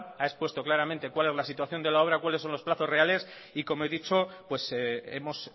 ha expuesto claramente cuál es la situación de la obra cuáles son los plazos reales y como he dicho hemos